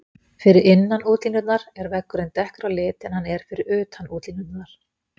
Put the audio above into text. Fyrir innan útlínurnar er veggurinn dekkri á lit en hann er fyrir utan útlínurnar.